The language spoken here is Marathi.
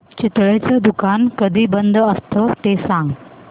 चितळेंचं दुकान कधी बंद असतं ते सांग